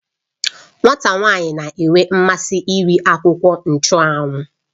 Nwata nwanyi na-enwe mmasị iri akwukwo nchụ́anwu